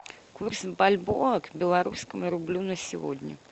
курс бальбоа к белорусскому рублю на сегодня